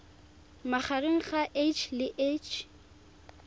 magareng ga h le h